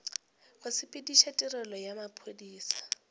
go sepediša tirelo ya maphodisa